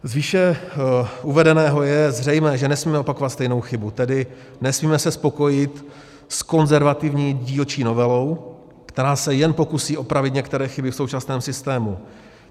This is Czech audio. Z výše uvedeného je zřejmé, že nesmíme opakovat stejnou chybu, tedy se nesmíme spokojit s konzervativní dílčí novelou, která se jen pokusí opravit některé chyby v současném systému.